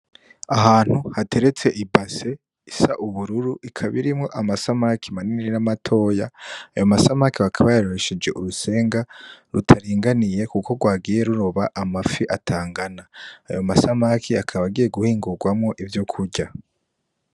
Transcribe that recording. Ahantu hateretse ibase isa ubururu ikaba irimwo amasamaki manini na matoya ,ayo masamaki baka bayarobesheje urusenga rutaringaniye kuko rwagiye ruroba amafi atangana ayo masamake akaba agiye guhingugwamwo ivyokurya.